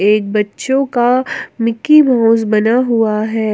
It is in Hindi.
एक बच्चों का मिकी माउस बना हुआ है।